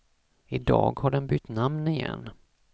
I dag har den bytt namn igen.